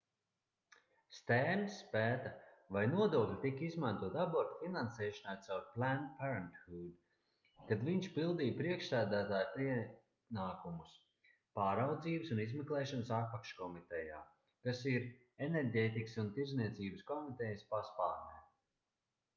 stērnss pēta vai nodokļi tika izmantoti abortu finansēšanai caur planned parenthood kad viņš pildīja priekšsēdētāja pienākumus pārraudzības un izmeklēšanas apakškomitejā kas ir enerģētikas un tirdzniecības komitejas paspārnē